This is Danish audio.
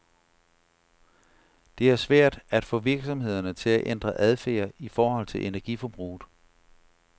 Det er svært at få virksomhederne til at ændre adfærd i forhold til energiforbruget.